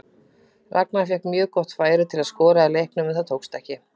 Ragnar fékk mjög gott færi til að skora í leiknum en tókst það ekki.